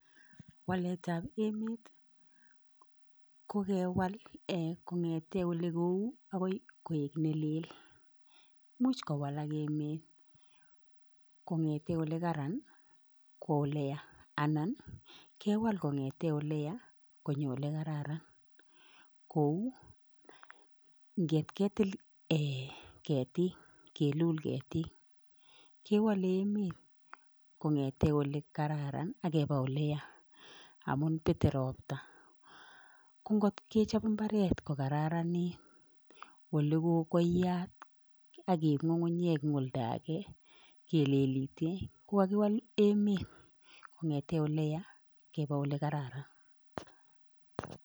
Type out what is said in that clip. Walet ab emet ko kewal "ee" kong'te ole kou akoy koek nelel much ko walak emet kong'ete ole karan kowa oleya anan kewal kong'ete ole ya konyo ole kararan kou ngetketil "ee" ketik, kelul ketik kewale emet kong'ete ole kararan akepa ole ya amun pete ropta ko ngotke chap imbaret ko kararanit: ole ko koiyat akeip nyukunyek eng' olda age kelelite kowal emet Kong'ete ole ya kepe ole kararan.